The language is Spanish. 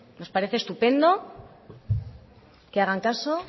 nos parece estupendo que hagan caso